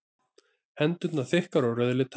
Hendurnar þykkar og rauðleitar.